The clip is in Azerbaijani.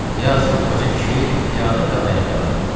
Yazıq qoca kişi piyada və ayaqyalın.